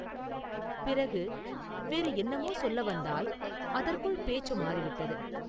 பிறகு, “வேறு என்னமோ சொல்ல வந்தாய்; அதற்குள் பேச்சு மாறி விட்டது.